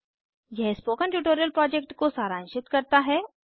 यह spoken tutorial project को सारांशित करता है